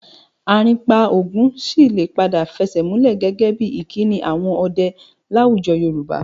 Àrìnpa ogún sì lè padà fẹsẹ̀múlẹ̀ gẹ́gẹ́ bí ìkíni àwọn ọdẹ láwùjọ Yorùbá